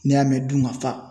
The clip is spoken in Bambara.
N'i y'a mɛn dunkafa